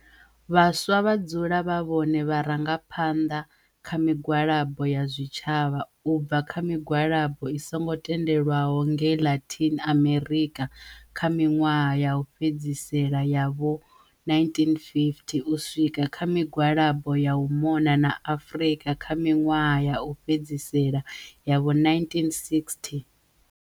Vhaswa vha dzula vha vhone vharangaphanḽa vha migwalabo ya zwitshavha, u bva kha migwalabo i songo tendelwaho ngei Latin Amerika kha miḽwaha ya u fhedzisela ya vho1950, u swika kha migwalabo ya u mona na Afrika kha miḽwaha ya u fhedzisela ya vho1960.